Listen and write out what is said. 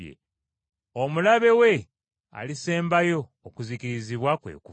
Omulabe we alisembayo okuzikirizibwa kwe Kufa.